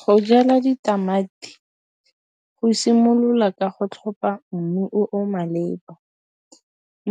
Go jala ditamati go simolola ka go tlhopha mmu o o malepa.